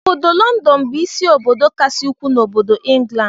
Ọbọdọ London bu ịsị obodo kasị ukwuu n'obodo England.